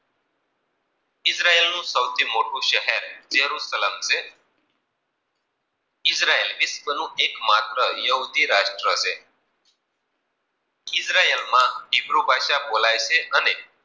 Israel નું સૌથી મોટું શહેર બેરું સલપ છે. ઈજરાયલ વિશ્વ નું એક માત્ર યહૂદી રાષ્ટ્ર છે. ઈજરાયલ ઈજરાયલ માં ચિભરું ભાસા બોલયે છે અને ચિદ્રાયેલ સૌથી મોટું શહેર બેરુ સલ્પ છે.